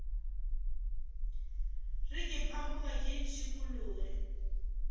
re ke phamoge ke šikologe